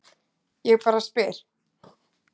Ég bara spyr.